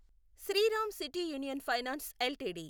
Sriram City Union Finance LTD